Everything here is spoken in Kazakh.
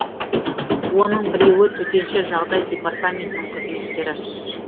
оның біреуі төтенше жағдай департаментінің қызметкері